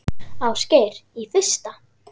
Ásgeir: Í fyrsta?